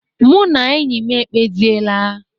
Mụ na enyi m ekpesiela.